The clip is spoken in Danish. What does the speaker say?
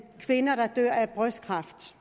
der er af brystkræft